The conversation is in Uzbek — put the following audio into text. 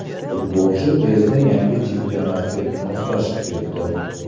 Futbolchi tezda yangi chempionatga moslashib ketdi.